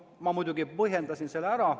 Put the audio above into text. Ma muidugi põhjendasin selle ära.